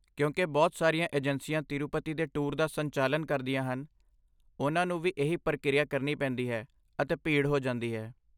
ਕਿਉਂਕਿ ਬਹੁਤ ਸਾਰੀਆਂ ਏਜੰਸੀਆਂ ਤਿਰੂਪਤੀ ਦੇ ਟੂਰ ਦਾ ਸੰਚਾਲਨ ਕਰਦੀਆਂ ਹਨ, ਉਨ੍ਹਾਂ ਨੂੰ ਵੀ ਇਹੀ ਪ੍ਰਕਿਰਿਆ ਕਰਨੀ ਪੈਂਦੀ ਹੈ, ਅਤੇ ਭੀੜ ਹੋ ਜਾਂਦੀ ਹੈ।